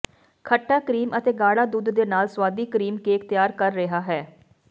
ਖੱਟਾ ਕਰੀਮ ਅਤੇ ਗਾੜਾ ਦੁੱਧ ਦੇ ਨਾਲ ਸੁਆਦੀ ਕਰੀਮ ਕੇਕ ਤਿਆਰ ਕਰ ਰਿਹਾ ਹੈ